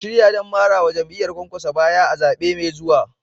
Ku shirya don marawa jam'iyyar Kwankwaso baya a zaɓe mai zuwa.